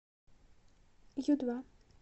ю два